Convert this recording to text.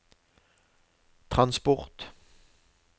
transport